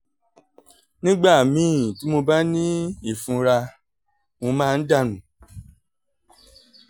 nígbà míì tí mo bá ní ìfunra mo ìfunra mo máa ń dà nù